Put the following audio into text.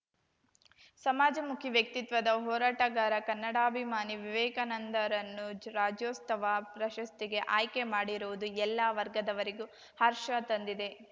ಸಮಾಜಮುಖಿ ವ್ಯಕ್ತಿತ್ವದ ಹೋರಾಟಗಾರ ಕನ್ನಡಾಭಿಮಾನಿ ವಿವೇಕಾನಂದರನ್ನು ಜ್ ರಾಜ್ಯೋತ್ಸವ ಪ್ರಶಸ್ತಿಗೆ ಆಯ್ಕೆಮಾಡಿರುವುದು ಎಲ್ಲಾ ವರ್ಗದವರಿಗೂ ಹರ್ಷ ತಂದಿದೆ